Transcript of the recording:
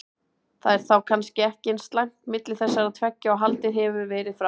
Það er þá kannski ekki eins slæmt milli þessara tveggja og haldið hefur verið fram?